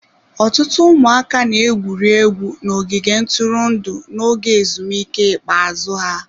Ọtụtụ ụmụaka na-egwuri egwu n'ogige ntụrụndụ n'oge ezumike ikpeazụ ha.